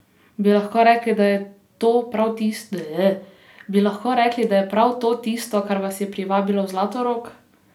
Bi lahko rekli, da je prav to tisto, kar vas je privabilo v Zlatorog?